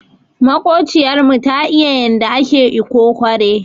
Makociyar mu ta iya yanda ake ikokore.